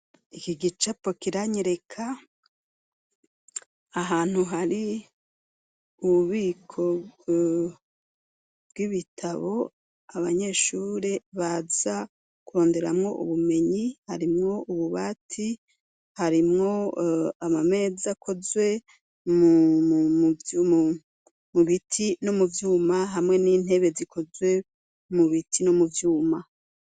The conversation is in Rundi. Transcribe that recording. iki gicapo kiranyereka ahantu hari ububiko bw'ibitabo, abanyeshure baza kuronderamwo ubumenyi. Harimwo Ububati, harimwo ama meza akozwe mu biti no muvyuma, hamwe n'intebe zikozwe mu biti no muvyuma.